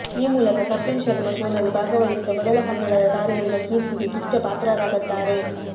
ಈ ಮೂಲಕ ಕಪಿಲ್ ಶರ್ಮ ಶೋನಲ್ಲಿ ಭಾಗವಹಿಸಿದ ಮೊದಲ ಕನ್ನಡದ ತಾರೆ ಎಂಬ ಕೀರ್ತಿಗೆ ಕಿಚ್ಚ ಪಾತ್ರರಾಗದ್ದಾರೆ